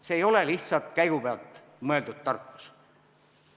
See ei ole lihtsalt käigupealt väljamõeldud tarkus.